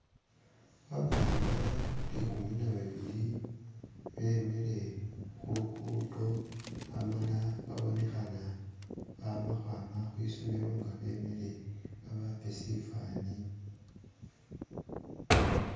babana likhumi nababili bemile khulugudo khamala babonekhana bama khwama khusomelo nga bemile babape shifani.